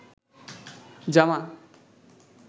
জামা